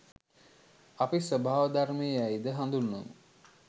අපි ස්වභාව ධර්මය යයි ද හඳුන්වමු.